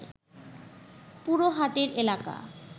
পুরো হাটের এলাকা